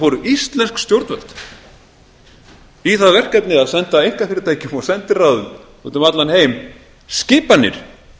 fóru íslensk stjórnvöld í það verkefni að senda einkafyrirtækjum og sendiráðum úti um allan heim skipanir